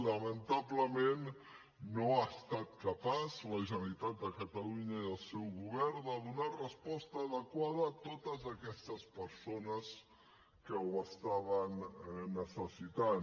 lamentablement no ha estat capaç la generalitat de catalunya i el seu govern de donar resposta adequada a totes aquestes persones que ho estaven necessitant